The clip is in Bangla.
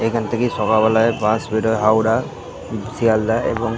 এই খানে থাকে সকাল বেলা বাস বেড়ায় হাওড়া শেয়ালদা এবং --